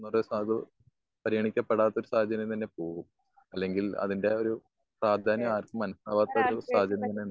ഇന്നത്തെ സാഹചര്യത്തില് പരിഗണിക്കപ്പെടാത്തൊരു സാഹചര്യം തന്നെയാ ഇപ്പൊഴും. അല്ലെങ്കിൽ അതിന്റെ ഒരു പ്രാധാന്യം ആർക്കും മനസ്സിലാക്കാത്ത ഒരു സാഹചര്യം തന്നെയുണ്ടാകും